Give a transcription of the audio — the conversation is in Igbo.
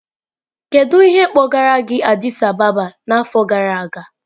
Kedu ihe kpọgara gị Addis Ababa n'afọ gara aga?